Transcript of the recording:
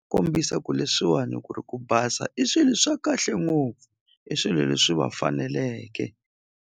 Kombisa ku leswiwani ku ri ku basa i swilo swa kahle ngopfu i swilo leswi va faneleke.